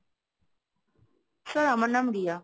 sir আমার নাম রিয়া।